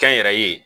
Kɛnyɛrɛye